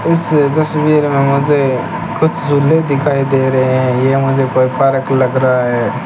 इस तस्वीर मे मुझे कुछ झूले दिखाई दे रहे है ये मुझे कोई पार्क लग रहा है।